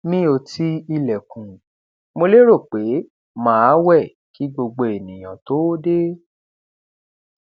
mi ò ti ilẹkùn mo lérò pé máa wẹ kí gbogbo ènìyàn tó dé